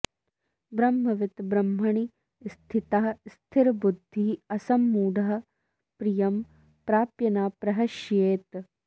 ब्रह्मवित् ब्रह्मणि स्थितः स्थिरबुद्धिः असम्मूढः प्रियं प्राप्य न प्रहृष्येत्